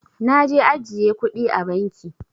Naje ajjiye kudi a banki.